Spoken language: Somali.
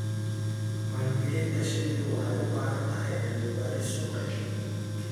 Maalgelinta shinnidu waxay u baahan tahay cilmi-baaris suuqeed.